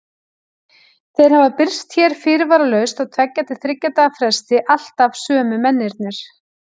Þeir hafa birst hér fyrirvaralaust á tveggja til þriggja daga fresti, alltaf sömu mennirnir.